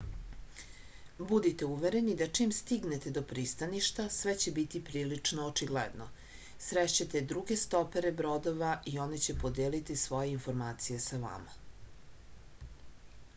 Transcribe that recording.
budite uvereni da čim stignete do pristaništa sve će biti prilično očigledno srešćete druge stopere brodova i oni će podeliti svoje informacije sa vama